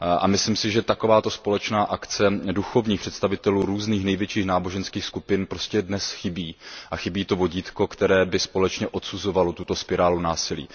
Myslím si, že společná akce duchovních představitelů různých největších náboženských skupin prostě dnes chybí a chybí to vodítko, které by společně odsuzovalo tuto spirálu násilí.